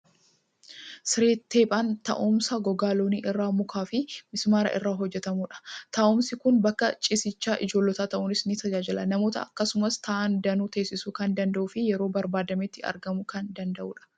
Siree xeephaan taa'umsa gogaa loonii irraa, mukaa fi mismaara irraa hojjetamudha. Taa'umsi kun bakka ciisichaa ijoollotaa ta'uunis ni tajaajila. Namoota keessummaa ta'an danuu teessisuu kan danda'uu fi yeroo barbaadametti argamuu kan danda'udha.